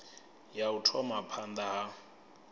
ya u thoma phanda ha